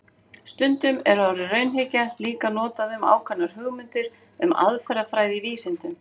Stundum er orðið raunhyggja líka notað um ákveðnar hugmyndir um aðferðafræði í vísindum.